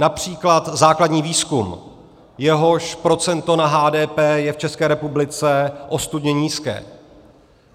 Například základní výzkum, jehož procento na HDP je v České republice ostudně nízké.